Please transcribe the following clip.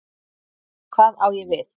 Hvað á ég við?